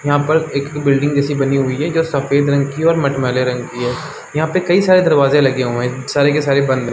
यहाँ पर एक बिल्डिंग जैसी बनी हुई है जो सफेद रंग की और मटमैले रंग की है यहाँ पे कई सारे दरवाजे लगे हुए हैं सारे के सारे बंद है।